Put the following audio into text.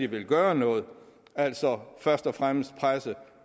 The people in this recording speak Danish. vil gøre noget altså først og fremmest presse